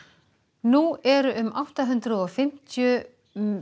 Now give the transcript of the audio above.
nú eru um átta hundruð og fimmtíu